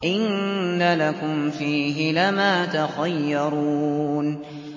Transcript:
إِنَّ لَكُمْ فِيهِ لَمَا تَخَيَّرُونَ